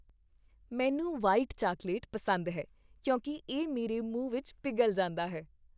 ਮੈਨੂੰ white chocolate ਪਸੰਦ ਹੈ ਕਿਉਂਕਿ ਇਹ ਮੇਰੇ ਮੂੰਹ ਵਿੱਚ ਪਿਘਲ ਜਾਂਦਾ ਹੈ।